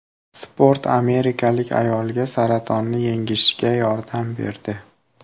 Sport amerikalik ayolga saratonni yengishga yordam berdi.